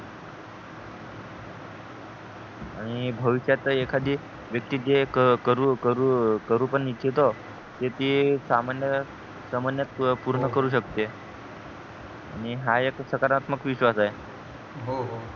आणि भविष्यात एखादी व्यक्ती जे करू करू करू पण इच्चीतो त्याची सामान्य समान्य त पूर्ण करू शकते आणि हा एक सकारात्मक विश्वास आहे हो हो